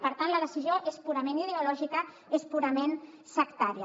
per tant la decisió és purament ideològica és purament sectària